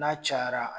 N'a cayara